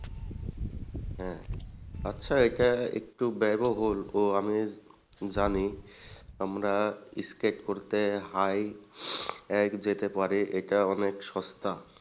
হ্যাঁ আচ্ছা এটা একটু আমি জানি আমরা skate করতে যেতে পারি এটা অনেক সস্তা।